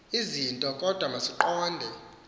zinto kodwa masiqonde